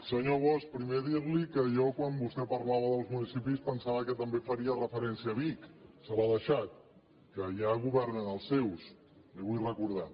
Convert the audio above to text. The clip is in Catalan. senyor bosch primer dir li que jo quan vostè parlava dels municipis pensava que també faria referència a vic se l’ha deixat que allà governen els seus li ho vull recordar